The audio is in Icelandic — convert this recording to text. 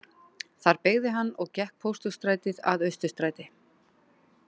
Þar beygði hann og gekk Pósthússtrætið að Austurstræti